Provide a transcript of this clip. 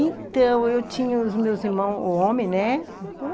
Então, eu tinha os meus irmãos, o homem, né?